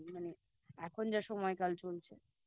মানে এখন যা সময়কাল চলছে